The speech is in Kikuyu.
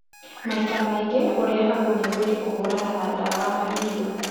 Maita maingĩ ũrehagwo nĩ mwĩrĩ kũhũrana na ndawa na irio.